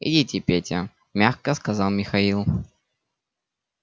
идите петя мягко сказал михаил